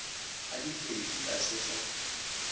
a diphedi a se sa